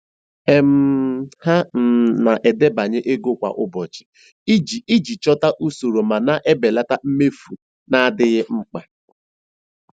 um Ha um na-edebanye ego kwa ụbọchị iji iji chọta usoro ma belata mmefu na-adịghị mkpa.